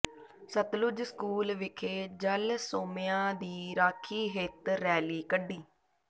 Sutlej school ਵਿਖੇ ਜਲ ਸੋਮਿਆਂ ਦੀ ਰਾਖੀ ਹਿੱਤ ਰੈਲੀ ਕੱਢੀ